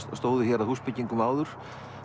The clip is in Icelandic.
stóðu hér að húsbyggingum áður